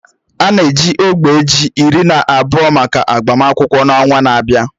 A na-eji ógbè ji iri na abụọ maka agbamakwụkwọ n'ọnwa na-abịa